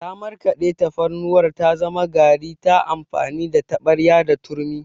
Ta markaɗe tafarnuwar ta zama gari ta amfani da taɓarya da turmi.